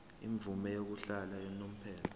imvume yokuhlala unomphela